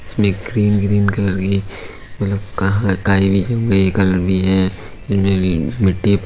इसमें green green colour की मतलब क काई भी जब गई है कलर भी है। मिट्टी --